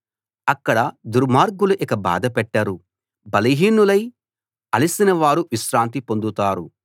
అక్కడ దుర్మార్గులు ఇక బాధపెట్టరు బలహీనులై అలసిన వారు విశ్రాంతి పొందుతారు